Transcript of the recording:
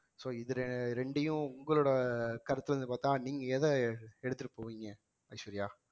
so இது ரெண்டையும் உங்களோட கருத்துல இருந்து பார்த்தால் நீங்க எதை எடுத்துட்டு போவீங்க ஐஸ்வர்யா